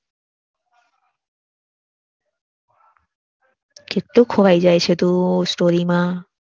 કેટલું ખોવાઈ જાય છે તું story માં